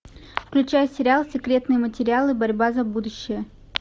включай сериал секретные материалы борьба за будущее